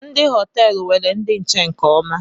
Ndị họteelu nwere ndi nche nke ọma